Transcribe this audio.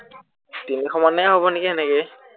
তিনিশ মানেই হব নেকি সেনেকেই